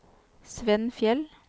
Svenn Fjeld